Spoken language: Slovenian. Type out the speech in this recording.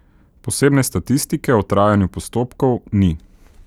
Posebne statistike o trajanju postopkov ni.